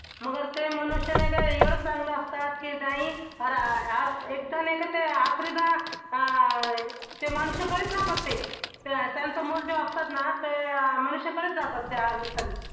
मगर ते मनुष्य नाही काय एवढं चांगलं असतात की नाही एकदा नाही का ते त्या मनुष्याकडेच जातात ते त्यांचं मूल जो असतात ना त्या मनुष्याकडेच जातात त्या